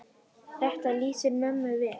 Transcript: Þetta lýsir mömmu vel.